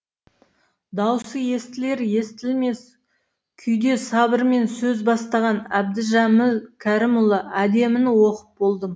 даусы естілер естілмес қүйде сабырмен сөз бастаған әбдіжәміл кәрімұлы әдеміні оқып болдым